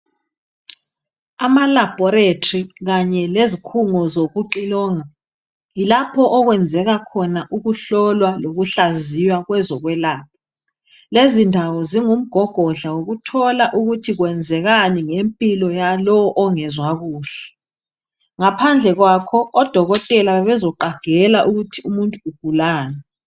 Amalabholetri kanye lezikhungo zokucilonga, yilapho okwenzelwa khona ukuhlolwa lokuhlaziwa kwezokwelapha. Lezi ndawo zingumgogodla wokuthola ukuthi kwenzekani ngempilo yalo ongezwa kuhle. Ngaphandle kwakho odokotela bebezoqagela ukuthi umuntu ugulani.